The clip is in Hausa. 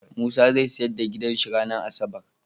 Musa zai siyar da gidan shi ranar asabar